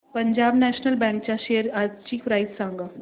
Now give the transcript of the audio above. Punjab national bank च्या shares आजची price सांगा